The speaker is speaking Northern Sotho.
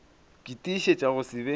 ke tiišetša go se be